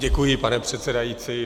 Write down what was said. Děkuji, pane předsedající.